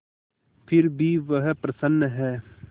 फिर भी वह प्रसन्न है